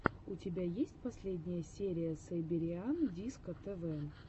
у тебя есть последняя серия сайбериан дискотв